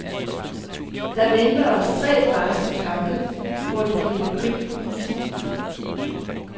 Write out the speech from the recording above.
Der venter os tre barske kampe, hvor det bliver krig på isen.